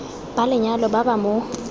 ba lenyalo ba ba mo